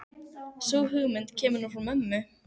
Sú hugmynd kemur nú frá mömmu.